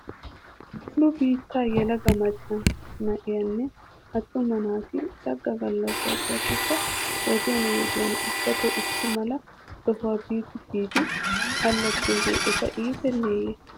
Nu biittaa yelaga macca naayinne attuma naati saga gallasay gakkiyoo wodiyan wodiyan ubbato issi mala sohuwaa bi biidi allaxxiyoogee eta iitenneeye?